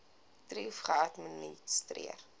thrip geadministreer